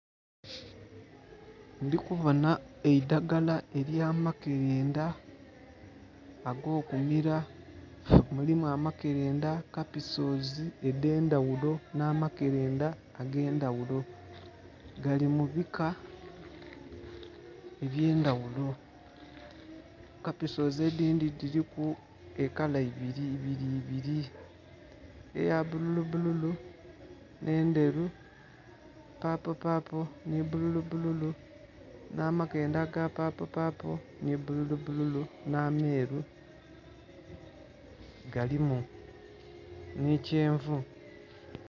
Ndhi kubonha eidhaggala elya makelendha ago kumila, mulimu amakelendha, kapisoozi edhendhaghulo nha makelendha agendhaghulo gali mu bika ebyendhaghulo , kapisoozi edindhi dhiliku ekala ibiri ibiri eya bbululu bbululu nhe endheru, paapo paapo nhi bbululu bbululu nha makelendha aga paapo paapo nhi bbululu bbululu nha meru galimu nhi kyangu.